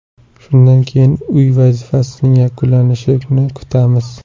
Shundan keyin uy vazifasining yuklanishini kutamiz.